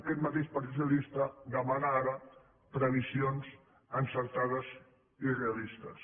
aquest mateix partit socialista demana ara previsions encertades i realistes